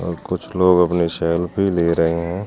और कुछ लोग अपने सेल्फी ले रहे हैं।